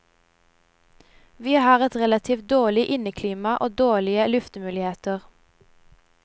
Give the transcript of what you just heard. Vi har et relativt dårlig inneklima og dårlige luftemuligheter.